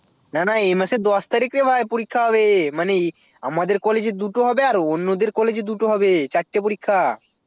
না না এই মাসের দশ তারিখ রে ভাই পরীক্ষা হবে মানে আমাদের college এ দুটো হবে আর অন্যদের college এ দুটো হবে চারটে পরীক্ষা